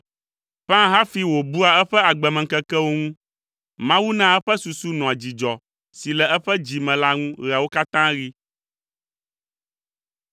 Ƒãa hafi wòbua eƒe agbemeŋkekewo ŋu. Mawu naa eƒe susu nɔa dzidzɔ si le eƒe dzi me la ŋu ɣeawo katã ɣi.